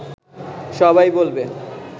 সবাই বলবে